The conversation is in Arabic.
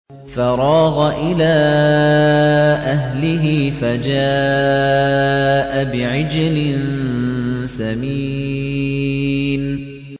فَرَاغَ إِلَىٰ أَهْلِهِ فَجَاءَ بِعِجْلٍ سَمِينٍ